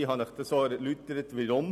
Ich habe Ihnen erläutert weshalb.